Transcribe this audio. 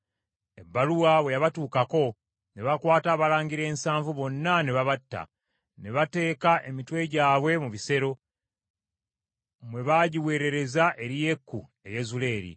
Ebbaluwa bwe yabatuukako, ne bakwata abalangira ensanvu bonna ne babatta, ne bateeka emitwe gyabwe mu bisero, mwe baagiweerereza eri Yeeku e Yezuleeri.